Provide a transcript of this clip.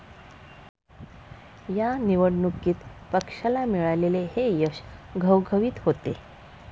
या निवडणुकीत पक्षाला मिळालेले हे यश घवघवीत होते.